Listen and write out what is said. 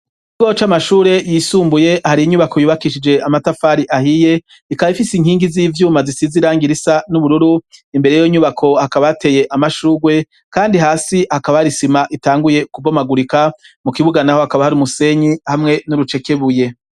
Ikigo c'amashure yisumbuye hari inyubako yubakishije amatafari ahiye ikaba ifise inkingi z'ivyuma zisize irangi risa n'ubururu imbere yiyo nyubako hakaba hateye amashugwe kandi hasi hakaba hari isima itanguye kubomagurika mu kibuga naho hakaba hari umusenyi hamwe n'urucekebuye.